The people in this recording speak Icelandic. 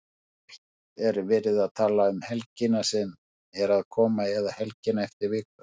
Hvort er verið að tala um helgina sem er að koma eða helgina eftir viku?